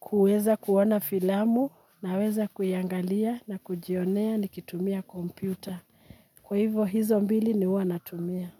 kuweza kuona filamu, naweza kuiangalia na kujionea nikitumia kompyuta. Kwa hivo hizo mbili ni huwa natumia.